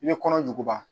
I bɛ kɔnɔjuguba